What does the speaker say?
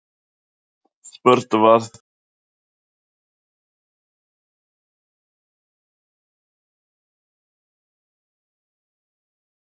Spurt var: hvaða lista myndir þú kjósa ef gengið yrði til kosninga nú?